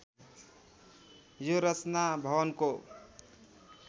यो रचना भवनको